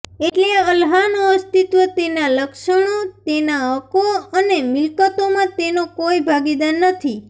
એટલે અલ્લાહનો અસ્તિત્વ તેના લક્ષણો તેના હક્કો અને મિલ્કતોમાં તેનો કોઇ ભાગીદાર નથી